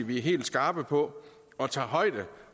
vi er helt skarpe på og tager højde